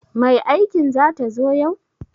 Mai aikin zata zo yau?